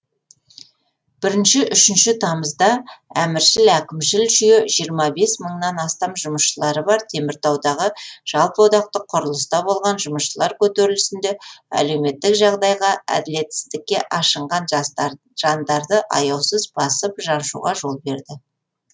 бірінші үшінші тамызда әміршіл әкімшіл жүйе жиырма бес мыңнан астам жұмысшылары бар теміртаудағы жалпыодақтық құрылыста болған жұмысшылар көтерілісінде әлеуметтік жағдайға әділетсіздікке ашынған жандарды аяусыз басып жаншуға жол берді